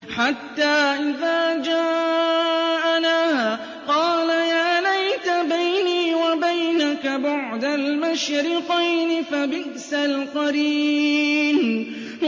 حَتَّىٰ إِذَا جَاءَنَا قَالَ يَا لَيْتَ بَيْنِي وَبَيْنَكَ بُعْدَ الْمَشْرِقَيْنِ فَبِئْسَ الْقَرِينُ